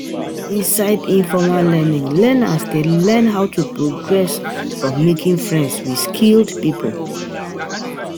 For inside informal learning, learners dey learn how to progress from making friends with skilled pipo